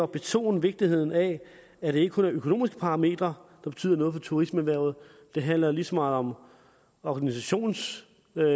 betone vigtigheden af at det ikke kun er økonomiske parametre der betyder noget for turismeerhvervet det handler lige så meget om organisationsændringer